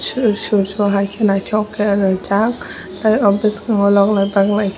shoro shoro bow hai naitok ke ringjak tei o boskango lokhnai baknai.